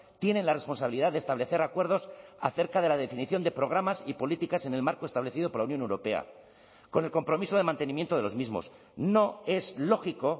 tienen la responsabilidad de establecer acuerdos acerca de la definición de programas y políticas en el marco establecido por la unión europea con el compromiso de mantenimiento de los mismos no es lógico